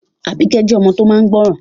Àbíkẹ́ jẹ́ ọmọ tó máa n gbọ́ràn